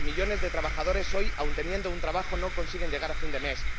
que millones de trabajadores hoy, aun teniendo un trabajo, no consigan llegar a fin de mes.